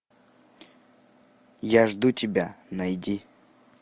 я жду тебя найди